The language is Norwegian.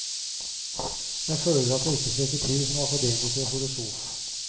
Jeg føler at jeg ikke strekker til som akademiker og filosof.